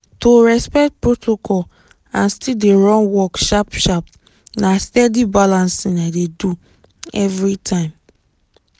to respect protocol and still run work sharp-sharp na steady balancing i dey do every time.